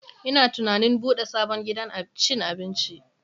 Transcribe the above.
Ina tunanin bude sabon gidan cin abinci.